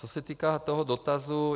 Co se týká toho dotazu.